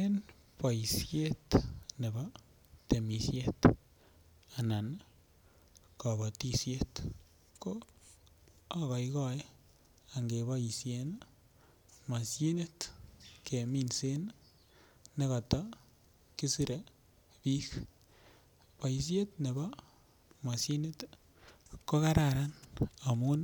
En boisiet nebo temisiet anan kabatisiet ko agoegoe angeboisien mashinit keminsen nekata kisirei bik boisyet nebo moshinit ko Kararan amun